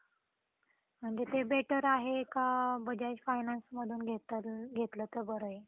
ते आपल्या शरीराचे भाग असतात असे म्हटलं तर चालत आपल्या शरीराचा एक भागच म्हटले तर चालतात आपले best friend म्हणून कारण खूप जवळचा व्यक्ती राहतो